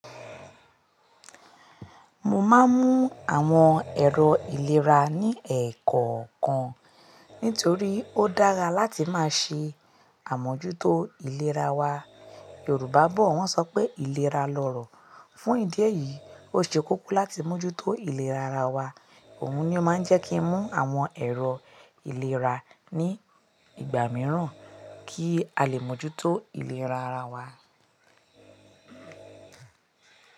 Mo máa ń mú àwọn èrò ìlera ní ẹẹkọọkan nítorí ó dára láti máa ṣe àmójútó ìlera wa. Yorùbá bọ̀ wọ́n sọ pé ìlera lọrọ̀. Fún ìdí èyí, ó ṣe kókó láti mójútó ìlera ara wa. Òun ni ó máa ń jẹ́ kí n mú àwọn èrò ìlera ní ìgbà mìíràn kí a lè mójútó ìlera ara wa.